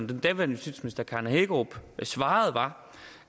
den daværende justitsminister karen hækkerup svarede var